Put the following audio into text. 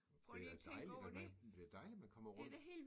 Det da dejligt at man det dejligt at man kommer rundt